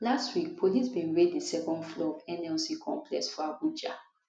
last week police bin raid di second floor of nlc complex for abuja